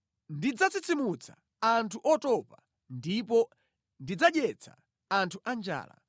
Ndidzatsitsimutsa anthu otopa ndipo ndidzadyetsa anthu anjala.”